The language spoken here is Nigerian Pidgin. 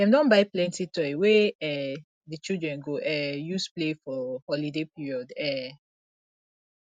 dem don buy plenty toy wey um di children go um use play for holiday period um